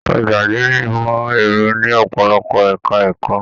Ọgbà adini ìmọ ẹrọ ní ọpọlọpọ ẹka ẹ̀kọ́.